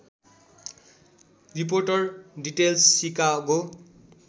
reporter details Chicago